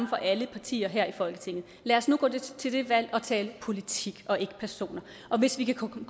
for alle partier her i folketinget lad os nu gå til det valg og tale politik og ikke personer og hvis vi kan komme